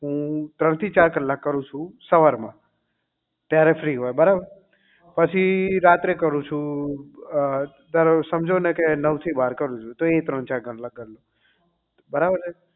હું ત્રણ થી ચાર કલાક કરું છું સવાર માં જયારે free હોય બરાબર પછી રાત્રે કરું છું અ ધરો સમજોને નવ થી બાર કરું છું એ ત્રણચાર કલાક ગણવાના બરાબર